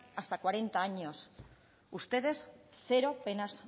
hasta cuarenta años ustedes cero penas